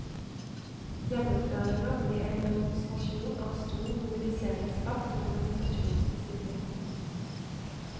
Gjennomføringa ble en demonstrasjon av stor mobiliseringskraft og organisasjonsdisiplin.